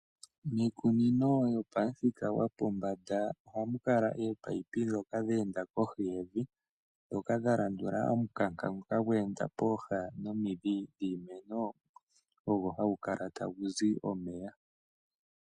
Miikunino yopamuthika gwopombanda oha mu kala ominino ndhoka dhe enda kohi yevi ndhoka dha landula omukanka ngoka gwe enda pooha nomidhi dhiimeno ogo hagu kala tagu zi omeya.